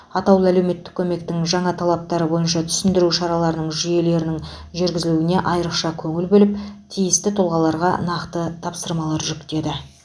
атаулы әлеуметтік көмектің жаңа талаптары бойынша түсіндіру шараларының жүйелерін жүргізілуіне айрықша көңіл бөліп тиісті тұлғаларға нақты тапсырмалар жүктеді